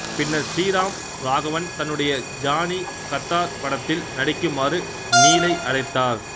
பின்னர் ஸ்ரீராம் ராகவன் தன்னுடைய ஜானி கத்தார் படத்தில் நடிக்குமாறு நீலை அழைத்தார்